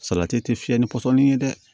Salati tɛ fiyɛ ni pɔsɔni ye dɛ